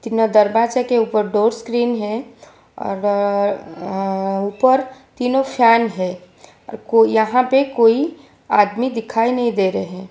न दरवाजा के ऊपर डोर स्क्रीन है और अ अ ऊपर तीनों फैन है और को यहां पे कोई आदमी दिखाई नहीं दे रहे --